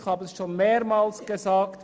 Ich habe es schon mehrmals gesagt: